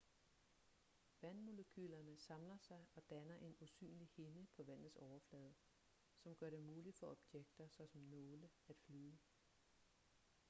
vandmolekylerne samler sig og danner en usynlig hinde på vandets overflade som gør det muligt for objekter såsom nåle at flyde